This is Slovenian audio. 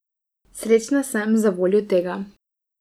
Srečna sem zavoljo tega.